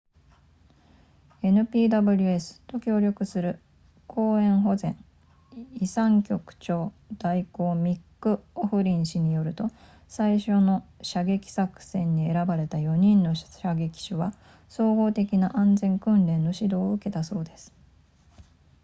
npws と協力する公園保全遺産局長代行ミックオフリン氏によると最初の射撃作戦に選ばれた4人の射撃手は総合的な安全訓練の指導を受けたそうです